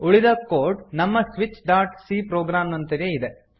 ಉಳಿದ ಕೋಡ್ ನಮ್ಮ switch dot c program ನಂತೆಯೇ ಇದೆ